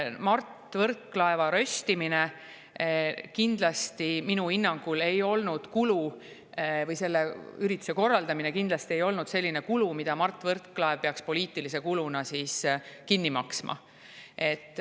"Mart Võrklaeva röst" või selle ürituse korraldamine minu hinnangul kindlasti ei olnud selline kulu, mille Mart Võrklaev peaks poliitilise kuluna kinni maksma.